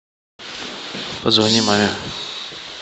позвони маме